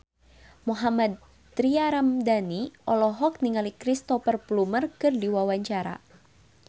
Mohammad Tria Ramadhani olohok ningali Cristhoper Plumer keur diwawancara